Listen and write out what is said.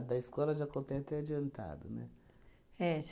Da escola, já contei até adiantado, né? É